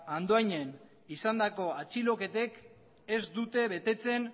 andoainen izandako atxiloketek ez dute betetzen